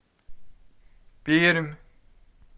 пермь